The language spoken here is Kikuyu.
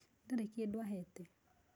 Ndarĩ kĩndũ ahete